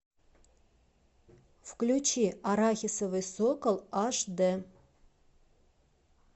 включи арахисовый сокол аш д